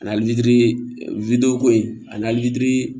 Ani litiri wideko in ani lili